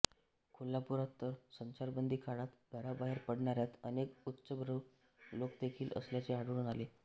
कोल्हापुरात तर संचारबंदी काळात घराबाहेर पडणाऱ्यात अनेक उच्चभ्रू लोकदेखील असल्याचे आढळून आले